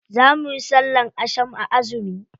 Za muna sallan asham a azumi.